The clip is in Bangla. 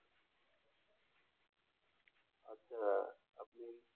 আচ্ছা আপনি